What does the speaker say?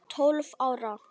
Tólf ára.